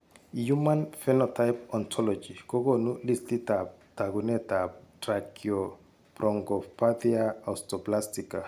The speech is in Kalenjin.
Human phenotype ontology kokoonu listiitab taakunetab Tracheobronchopathia osteoplastica.